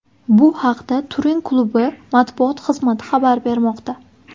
Bu haqda Turin klubi matbuot xizmati xabar bermoqda .